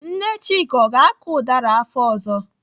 Nne Chika, ọ ga-akọ ụdara afọ ọzọ?